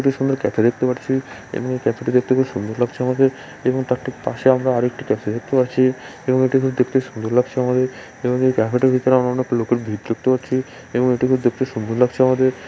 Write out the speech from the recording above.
এটা সুন্দর ক্যাফে দেখতে পাচ্ছি এবং ক্যাফেটি দেখতে খুব সুন্দর লাগছে আমাদের এবং তার ঠিক পাশে আমরা আরেকটি ক্যাফে দেখতে পাচ্ছি এবং এটি দেখতে খুব সুন্দর লাগছে আমাদের এবং এই ক্যাফেটির ভিতরে আমরা অনেক লোকের ভিড় দেখতে পাচ্ছি এবং এটি দেখতে খুব সুন্দর লাগছে আমাদের।